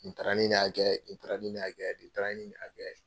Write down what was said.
Nin taara nin hakɛ ye nin taara nin hakɛ nin taara hɛkɛ ye.